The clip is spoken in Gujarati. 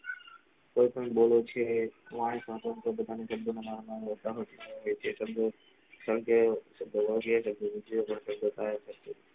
કયી પણ બોલે છે ભારત ના દબદબા ને કારણકે દબોરીયા